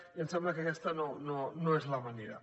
i em sembla que aquesta no és la manera